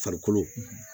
Farikolo